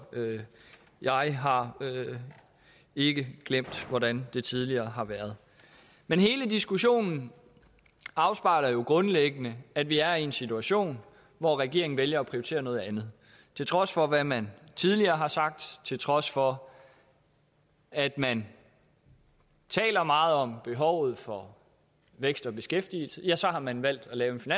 jeg har ikke glemt hvordan det tidligere har været men hele diskussionen afspejler jo grundlæggende at vi er i en situation hvor regeringen vælger at prioritere noget andet til trods for hvad man tidligere har sagt til trods for at man taler meget om behovet for vækst og beskæftigelse ja så har man valgt at lave